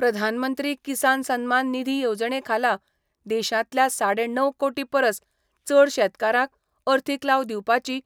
प्रधानमंत्री किसान सन्मान निधी येवजणे खाला देशांतल्या साडे णव कोटी परस चड शेतकारांक अर्थीक लाव दिवपाची